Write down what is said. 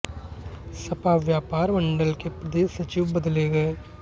सपा व्यापार मंडल के प्रदेश सचिव बदले गए